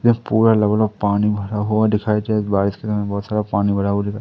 इस पूरे लेवल में पानी भरा हुआ दिखाई तेज बारिश के कारण बहोत सारा पानी भरा हुआ दिखा--